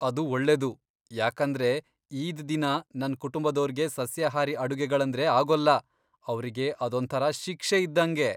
ಅದು ಒಳ್ಳೆದು, ಯಾಕಂದ್ರೆ ಈದ್ ದಿನ ನನ್ ಕುಟುಂಬದೋರ್ಗೆ ಸಸ್ಯಾಹಾರಿ ಅಡುಗೆಗಳಂದ್ರೆ ಆಗೋಲ್ಲ, ಅವ್ರಿಗೆ ಅದೊಂಥರ ಶಿಕ್ಷೆ ಇದ್ದಂಗೆ.